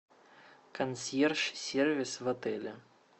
консьерж сервис в отеле